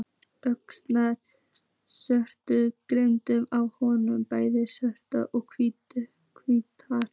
Ótal sögur gengu af honum, bæði sannar og ýktar.